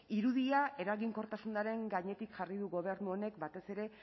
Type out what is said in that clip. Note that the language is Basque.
irudia eraginkortasunaren gainetik jarri du gobernu honek batez ere